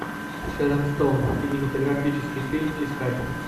шерон стоун кинематографический фильм искать